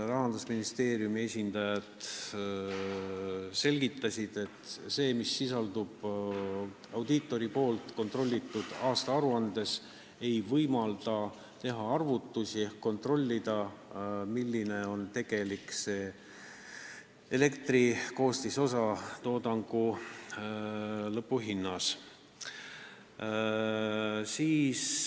Rahandusministeeriumi esindajad selgitasid, et info, mis sisaldub audiitori kontrollitud aastaaruandes, ei võimalda teha arvutusi ehk kontrollida, milline on tegelik elektri hinna osakaal toodangu lõpphinnas.